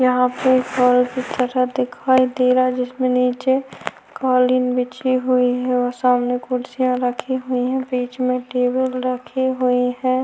यहाँ पर बल की तरह कुछ दिखाई दे रहा है इसके नीचे कालीन बिछी हुई है और सामने कुर्सियां रखी हुई है बीच में टेबल रखी हुई है।